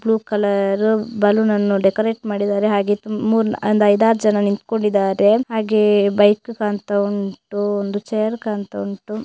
Blue colour balloon ಅನ್ನು decorate ಮಾಡಿದ್ದಾರೆ ಹಾಗೆ ತುಂ ಮೂರ್ ನಾ ಒಂದ್ ಐದ್ ಆರ್ ಜನ ನಿಂತ್ಕೊಂಡಿದ್ದಾರೆ ಹಾಗೆ ಬೈಕು ಕಾಣ್ತಾವುಂಟು ಒಂದು ಚೇರು ಕಾಣ್ತಾ ವುಂಟು.